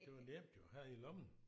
Det var nemt jo have i lommen